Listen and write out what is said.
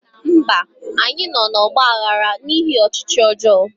Mba anyị nọ n'ọgba aghara n'ihi ọchịchị ọjọọ